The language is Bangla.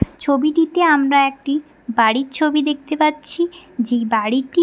ছবিটিতে আমরা একটি বাড়ির ছবি দেখতে পাচ্ছি যে বাড়িটি--